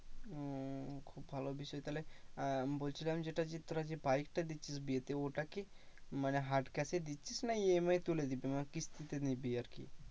ও খুব ভালো বিষয় তাহলে আর বলছিলাম যেটা যে তোরা যে bike টা দিচ্ছিস বিয়েতে ওটা কি মানে হাত case এ দিচ্ছিস না EMI এ তুলে দিবি? মানে কিস্তিতে নিবি আর কি?